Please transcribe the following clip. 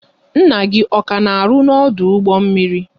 Nna gị ọ ka na arụ ọrụ n'ọdụ ụgbọ mmiri?